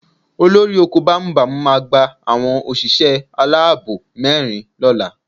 Olóko bámúbamù máa gba àwọn òṣìṣẹ́ aláàbò mẹ́rin lọ́la